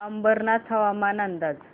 अंबरनाथ हवामान अंदाज